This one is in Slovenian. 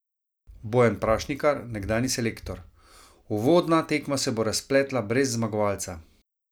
Bojan Prašnikar, nekdanji selektor: "Uvodna tekma se bo razpletla brez zmagovalca.